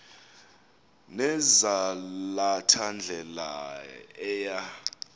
nezalatha ndlela eya